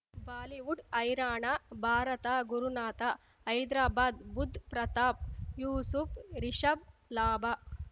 Bollywood ಹೈರಾಣ ಭಾರತ ಗುರುನಾಥ ಹೈದ್ರಾಬಾದ್ ಬುಧ್ ಪ್ರತಾಪ್ ಯೂಸುಫ್ ರಿಷಬ್ ಲಾಭ